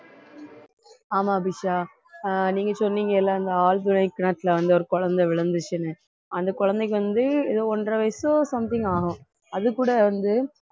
ஆமா அபிஷா ஆஹ் நீங்க சொன்னீங்கல்ல அந்த ஆழ்துளை கிணத்துல வந்து ஒரு குழந்தை விழுந்துச்சுன்னு அந்த குழந்தைக்கு வந்து ஏதோ ஒன்றரை வயசோ something ஆகும் அதுகூட வந்து